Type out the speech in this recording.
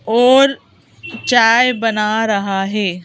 और चाय बना रहा है।